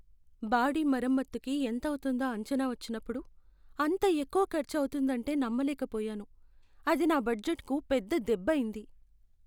Body మరమ్మతుకి ఎంతవుతుందో అంచనా వచ్చినప్పుడు , అంత ఎక్కువ ఖర్చు అవుతుందంటే నమ్మలేకపోయాను. అది నా బడ్జెట్కు పెద్ద దెబ్బైంది.